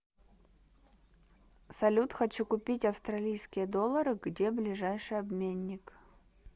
салют хочу купить австралийские доллары где ближайший обменник